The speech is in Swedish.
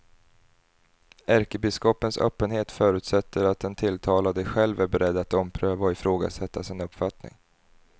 Ärkebiskopens öppenhet förutsätter att den tilltalade själv är beredd att ompröva och ifrågasätta sin uppfattning.